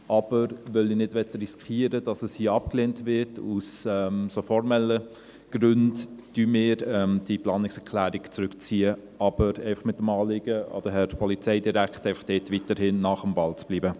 Aber weil ich nicht riskieren möchte, dass sie hier aus formellen Gründen abgelehnt wird, ziehen wir die Planungserklärung zurück, aber mit dem Anliegen an den Herrn Polizeidirektor, dort einfach weiterhin am Ball zu bleiben.